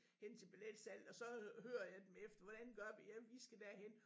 Hen til billetsalg og så hører jeg dem efter hvordan gør vi jamen I skal derhen